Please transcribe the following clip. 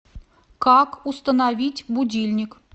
как установить будильник